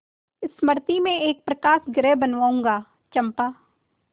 मृति में एक प्रकाशगृह बनाऊंगा चंपा